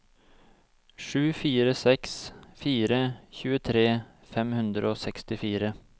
sju fire seks fire tjuetre fem hundre og sekstifire